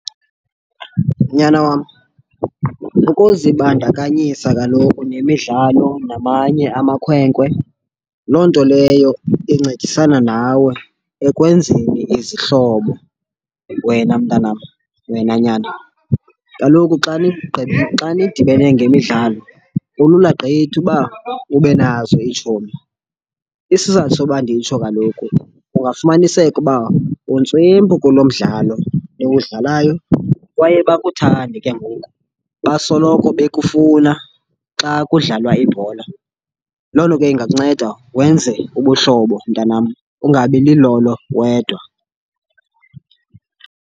Nyana wam, ukuzibandakanyisa kaloku nemidlalo namanye amakhwenkwe, loo nto leyo incedisana nawe ekwenzeni izihlobo wena mntanam, wena nyana. Kaloku xa xa nidibene ngemidlalo kulula gqitha uba ube nazo iitshomi. Isizathu soba nditsho kaloku kungafumaniseka uba untswempu kulo mdlalo niwudlalayo kwaye bakuthande ke ngoku, basoloko bekufuna xa kudlalwa ibhola. Loo nto ke ingakunceda wenze ubuhlobo mntanam, ungabi lilolo wedwa.